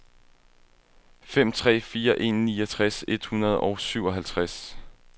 fem tre fire en niogtres et hundrede og syvoghalvtreds